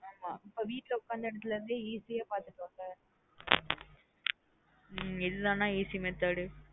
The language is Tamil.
அதா நா இப்போ வீட்ல உக்காந்த இஅதில இருந்தே easy ஆ பாத்துடோன்ல இது தான் நா easy method.